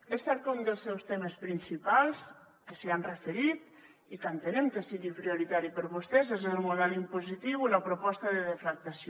és cert que un dels seus temes principals que s’hi han referit i que entenem que sigui prioritari per a vostès és el model impositiu i la proposta de deflactació